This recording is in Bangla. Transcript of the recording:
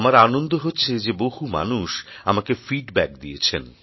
আমার আনন্দ হচ্ছে যে বহু মানুষ আমাকে ফিডব্যাক দিয়েছেন